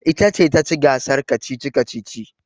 Ita ce ta ci gasar kacici-kacici.